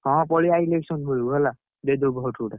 ହଁ ପଳିଆ election ବେଳକୁ ହେଲା, ଦେଇଦବୁ vote ଗୋଟେ।